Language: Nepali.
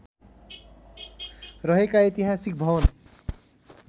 रहेका ऐतिहासिक भवन